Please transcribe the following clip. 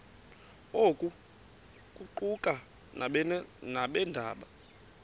oku kuquka nabeendaba